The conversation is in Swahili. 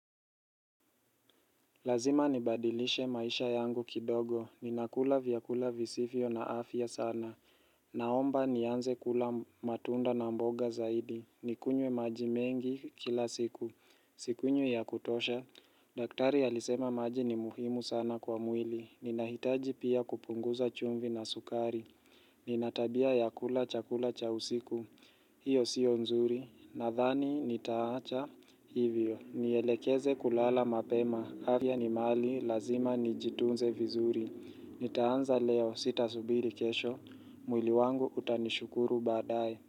Lazima nibadilishe maisha yangu kidogo. Ninakula vyakula visivyo na afya sana. Naomba nianze kula matunda na mboga zaidi. Nikunywe maji mengi kila siku. Sikunywi ya kutosha. Daktari alisema maji ni muhimu sana kwa mwili. Ninahitaji pia kupunguza chumvi na sukari. Nina tabia ya kula chakula cha usiku. Hiyo siyo nzuri, nadhani nitaacha, hivyo, nielekeze kulala mapema, afya ni mali, lazima nijitunze vizuri, nitaanza leo sitasubiri kesho, mwili wangu utanishukuru baadaye.